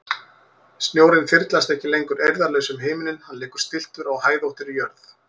Snjórinn þyrlast ekki lengur eirðarlaus um himininn, hann liggur stilltur á hæðóttri jörð.